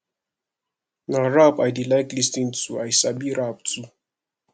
na rap i dey like lis ten to and i sabi rap too